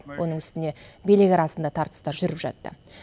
оның үстіне билік арасында тартыстар жүріп жатты